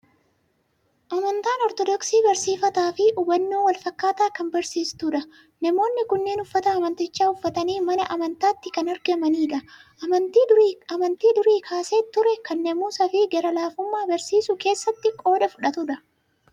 Amantaan Ortoodoksii barsiifata fi hubannaa wal fakkaataa kan barsiisudha. Namoonni kunneen uffata amantichaa uffatanii mana amantaatti kan argamanidha. Amantii durii kaasee ture, kan naamusaa fi gara laafummaa barsiisuu keessatti qooda fudhatudha.